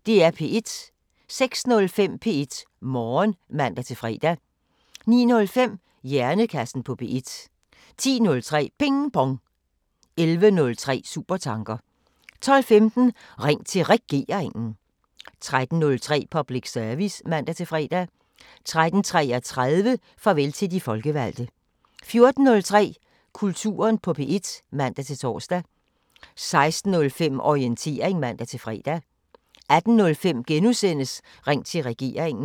06:05: P1 Morgen (man-fre) 09:05: Hjernekassen på P1 10:03: Ping Pong 11:03: Supertanker 12:15: Ring til Regeringen 13:03: Public Service (man-fre) 13:33: Farvel til de folkevalgte 14:03: Kulturen på P1 (man-tor) 16:05: Orientering (man-fre) 18:05: Ring til Regeringen *